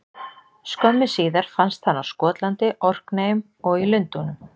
Skömmu síðar fannst hann á Skotlandi, Orkneyjum og í Lundúnum.